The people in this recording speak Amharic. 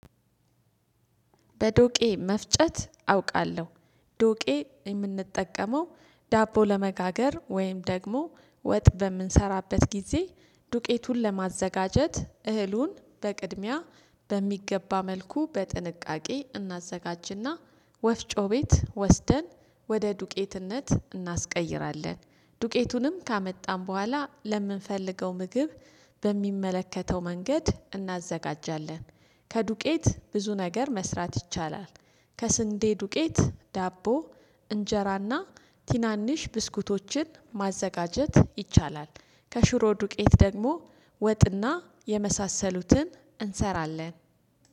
በዶቄ መፍጨት አውቃለሁ። ዶቄ የምንጠቀመው ዳቦ ለመጋገር ወይም ደግሞ ወጥ በምንሰራበት ጊዜ ዱቄቱን ለማዘጋጀት እህሉን በቅድሚያ በሚገባ መልኩ በጥንቃቄ እናዘጋጅና ወፍጮ ቤት ወስደን ወደ ዱቄትነት እናስቀይራለን። ዱቄቱንም ካመጣን በኋላ ለምንፈልገው ምግብ በሚመለከተው መንገድ እናዘጋጃለን። ከዱቄት ብዙ ነገር መስራት ይቻላል። ከስንዴ ዱቄት ዳቦ እንጀራና ቲናንሽ ብስኩቶችን ማዘጋጀት ይቻላል። ከሽሮ ዱቄት ደግሞ ወጥና የመሳሰሉትን እንሰራለን።